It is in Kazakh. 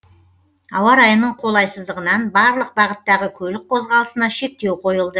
ауа райының қолайсыздығынан барлық бағыттағы көлік қозғалысына шектеу қойылды